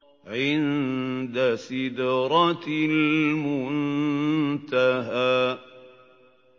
عِندَ سِدْرَةِ الْمُنتَهَىٰ